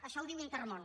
això ho diu intermón